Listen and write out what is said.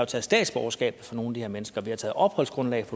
taget statsborgerskabet fra nogle her mennesker vi har taget opholdsgrundlaget